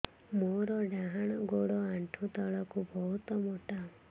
ମୋର ଡାହାଣ ଗୋଡ ଆଣ୍ଠୁ ତଳୁକୁ ବହୁତ ମୋଟା